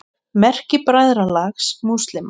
Merki Bræðralags múslíma.